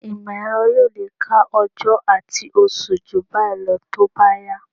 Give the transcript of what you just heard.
Ìmọ̀-ẹ̀rọ yóò lè ka ọjọ́ àti oṣù jù báyìí lọ tó bá yá